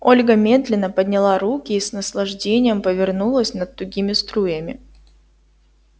ольга медленно подняла руки и с наслаждением повернулась под тугими струями